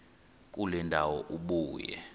kule ndawo ubuye